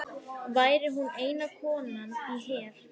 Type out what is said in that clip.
Væri hún eina konan í her